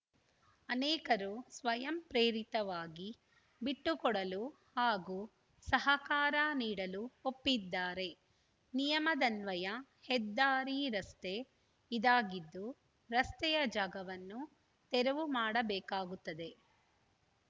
ಅನೇಕರು ಸ್ವಯಂ ಪ್ರೇರಿತವಾಗಿ ಬಿಟ್ಟುಕೊಡಲು ಹಾಗೂ ಸಹಕಾರ ನೀಡಲು ಒಪ್ಪಿದ್ದಾರೆ ನಿಯಮದನ್ವಯ ಹೆದ್ದಾರಿ ರಸ್ತೆ ಇದಾಗಿದ್ದು ರಸ್ತೆಯ ಜಾಗವನ್ನು ತೆರವು ಮಾಡಬೇಕಾಗುತ್ತದೆ